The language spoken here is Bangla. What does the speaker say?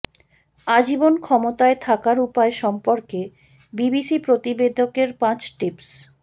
আজীবন ক্ষমতায় থাকার উপায় সম্পর্কে বিবিসি প্রতিবেদকের পাঁচ টিপস